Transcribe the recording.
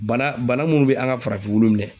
Bana, bana munnu bɛ an ka farafin minɛ.